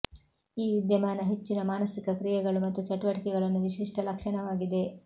ಈ ವಿದ್ಯಮಾನ ಹೆಚ್ಚಿನ ಮಾನಸಿಕ ಕ್ರಿಯೆಗಳು ಮತ್ತು ಚಟುವಟಿಕೆಗಳನ್ನು ವಿಶಿಷ್ಟ ಲಕ್ಷಣವಾಗಿದೆ